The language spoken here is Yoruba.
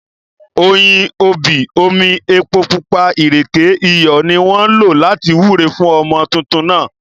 Oyin, obì, omi, epo pupa, ìrèké, iyọ̀, ni wọ́n lò láti wúre fún ọmọ tuntun náà